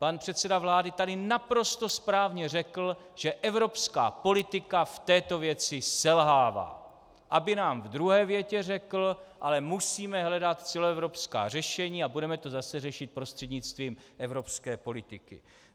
Pan předseda vlády tady naprosto správně řekl, že evropská politika v této věci selhává, aby nám v druhé větě řekl: ale musíme hledat celoevropská řešení a budeme to zase řešit prostřednictvím evropské politiky.